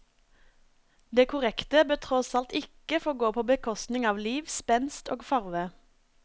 Det korrekte bør tross alt ikke få gå på bekostning av liv, spenst og farve.